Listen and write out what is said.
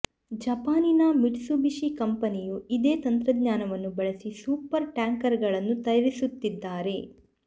ಜಪಾನಿನ ಮಿಟ್ಸುಬಿಷಿ ಕಂಪೆನಿಯೂ ಇದೇ ತಂತ್ರಜ್ಞಾನವನ್ನು ಬಳಸಿ ಸೂಪರ್ ಟ್ಯಾಂಕರ್ ಗಳನ್ನು ತಯಾರಿಸುತ್ತಿದ್ದಾರೆ